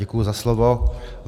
Děkuji za slovo.